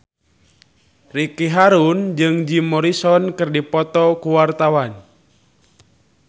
Ricky Harun jeung Jim Morrison keur dipoto ku wartawan